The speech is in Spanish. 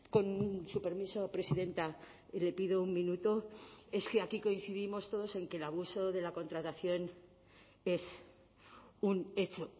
con su permiso presidenta le pido un minuto es que aquí coincidimos todos en que el abuso de la contratación es un hecho